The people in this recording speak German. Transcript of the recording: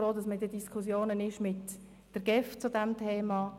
Ich bin auch froh, dass man mit der GEF darüber diskutiert.